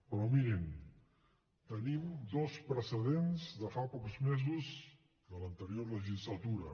però mirin tenim dos precedents de fa pocs mesos de l’anterior legislatura